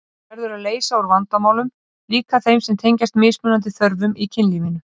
Það verður að leysa úr vandamálum, líka þeim sem tengjast mismunandi þörfum í kynlífinu.